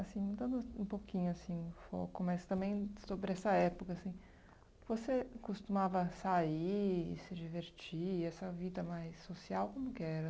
Assim, mudando um pouquinho, assim, o foco, mas também sobre essa época, assim, você costumava sair, se divertir, essa vida mais social, como que era?